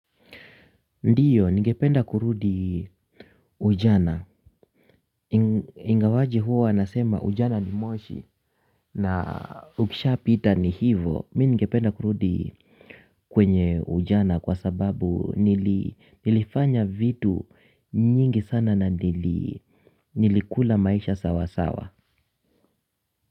Ndiyo ningependa kurudi ujana ingawaje huwa nasema ujana ni moshi na ukisha pita ni hivo mi ningependa kurudi kwenye ujana kwa sababu nilifanya vitu nyingi sana na nili nilikula maisha sawa sawa.